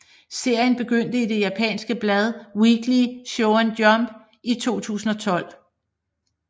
Serien begyndte i det japanske blad Weekly Shonen Jump i 2012